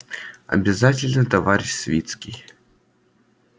обязательно товарищ свицкий